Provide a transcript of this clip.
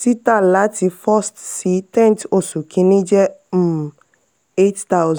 tita lati first si tenth oṣù kini jẹ um eight thousand